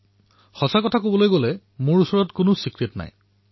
দৰাচলতে মোৰ ওচৰত কোনো ৰহস্য নাই